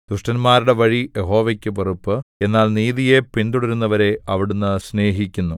ദുഷ്ടന്മാരുടെ വഴി യഹോവയ്ക്ക് വെറുപ്പ് എന്നാൽ നീതിയെ പിന്തുടരുന്നവനെ അവിടുന്ന് സ്നേഹിക്കുന്നു